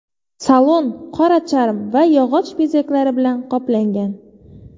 Salon qora charm va yog‘och bezaklari bilan qoplangan.